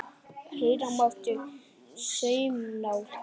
Heyra mátti saumnál detta.